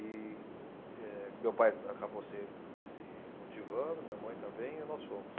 E, eh, meu pai acabou se, se motivando, minha mãe também, e nós fomos.